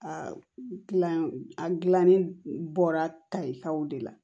A gilan a gilanni bɔra tali ka de la